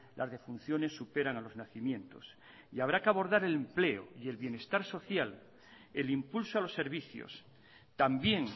las defunciones superan a los nacimientos y habrá que abordar el empleo y el bienestar social el impulso a los servicios también